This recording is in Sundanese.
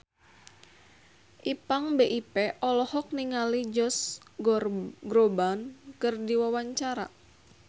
Ipank BIP olohok ningali Josh Groban keur diwawancara